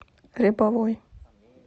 рябовой